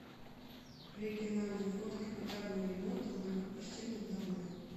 региональный фонд капитального ремонта многоквартирных домов